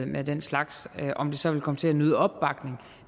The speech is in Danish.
med den slags om det så vil komme til at nyde opbakning